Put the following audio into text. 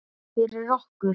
Fyrir okkur.